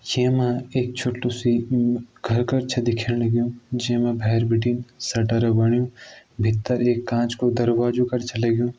छे मां एक छोटु सी म घर कर छ दिखेण लग्युं जेमा भैर बिटिन सटर बणियुं भित्तर एक कांच को दारवाजो कर छ लग्युं।